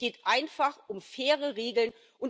Es geht einfach um faire Regeln.